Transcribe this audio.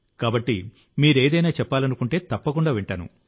కాబట్టి మీరు ఏదైనా చెప్పాలనుకుంటే తప్పకుండా వింటాను